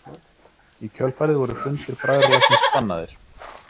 Í kjölfarið voru fundir bræðralagsins bannaðir.